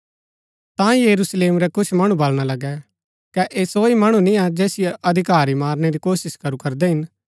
ता यरूशलेम रै कुछ मणु बलणा लगै कै ऐह सो ही मणु निया जैसियो अधिकारी मारनै री कोशिश करू करदै हिन